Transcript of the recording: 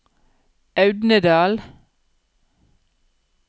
Audnedal